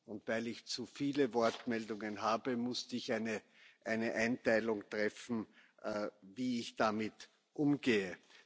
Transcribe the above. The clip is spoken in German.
und weil ich zuviele Wortmeldungen habe, musste ich eine Einteilung treffen, wie ich damit umgehe.